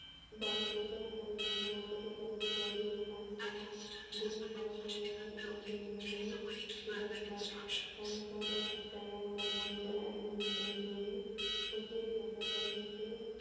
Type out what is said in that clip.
பால தூதர் தனது முதல் நாற்பத்தி எட்டு ஆவது குருவை பார்த்தார். குருவை பார்த்து ஐந்து குணங்களை விவரித்தார். தயா தர்மம் முதல் ஐந்து குணங்கள பொது உச்சத்தை தொட்ட பொருமைக்கு.